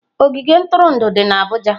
Ogige ntụrụndụ dị na abuja.